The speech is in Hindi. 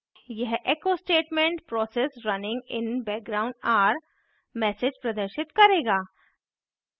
यह echo statement process runing in background are message प्रदर्शित करेगा